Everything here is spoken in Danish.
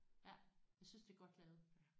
Ja jeg synes det er godt lavet